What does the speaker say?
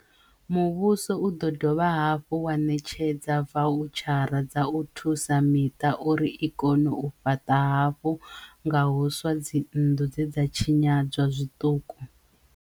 Muvhuso u ḓo dovha hafhu wa ṋetshedza vau-tshara dza u thusa miṱa uri i kone u fhaṱa hafhu nga huswa dzinndu dze dza tshinyadzwa zwiṱuku,